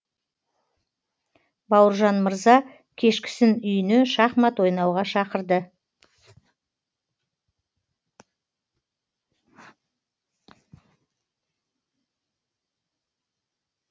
бауыржан мырза кешкісін үйіне шахмат ойнауға шақырды